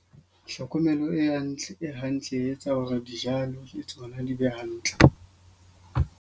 Tlhokomelo e hantle e hantle e etsa hore dijalo le tsona di be hantle.